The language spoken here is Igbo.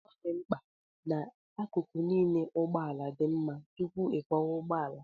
Ọ dị mkpa na akụkụ niile nke ụgbọ ala dị mma tupu ịkwọwa ụgbọ ala